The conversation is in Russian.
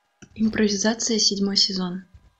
импровизация седьмой сезон